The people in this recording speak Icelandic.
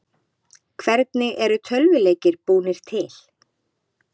Hvernig eru tölvuleikir búnir til?